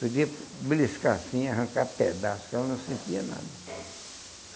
Podia beliscar assim, arrancar pedaço, que ela não sentia nada.